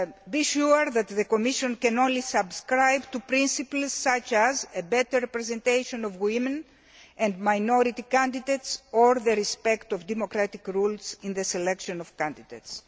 Be sure that the Commission can only subscribe to principles such as the better representation of women and minority candidates or the respect of democratic rules in the selection of candidates.